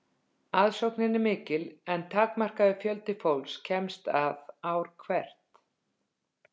aðsóknin er mikil en takmarkaður fjöldi fólks kemst að ár hvert